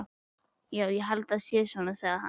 Já, ég held það sé svona, sagði hann.